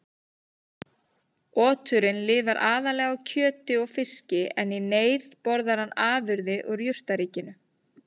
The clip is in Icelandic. Oturinn lifir aðallega á kjöti og fiski en í neyð borðar hann afurðir úr jurtaríkinu.